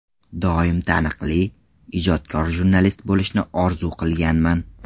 Doim taniqli, ijodkor jurnalist bo‘lishni orzu qilganman.